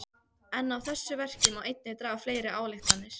En af þessu verki má einnig draga fleiri ályktanir.